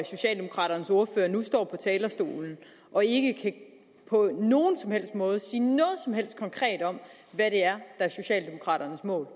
socialdemokraternes ordfører nu står på talerstolen og ikke på nogen som helst måde kan sige noget som helst konkret om hvad der er socialdemokraternes mål